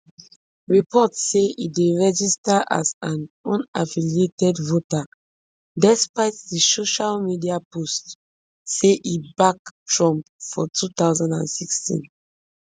report say e dey registered as an unaffiliated voter despite di social media post wey say e back trump for two thousand and sixteen